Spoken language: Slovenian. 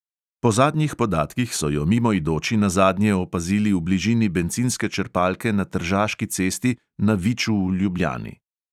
Po zadnjih podatkih so jo mimoidoči nazadnje opazili v bližini bencinske črpalke na tržaški cesti na viču v ljubljani.